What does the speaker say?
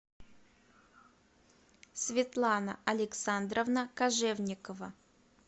светлана александровна кожевникова